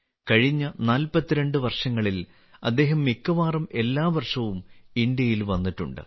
കഴിഞ്ഞ 42 നാല്പത്തിരണ്ട് വർഷങ്ങളിൽ അദ്ദേഹം മിക്കവാറും എല്ലാ വർഷവും ഇന്ത്യയിൽ വന്നിട്ടുണ്ട്